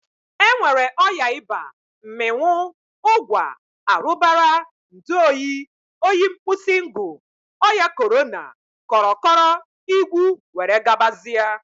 E nwere ọya ịba, mmịnwụ, ụgwa, arụbara, ndu oyi, oyi nkpusingu, ọya Korana, kọrọkọrọ, igwu were gabazia.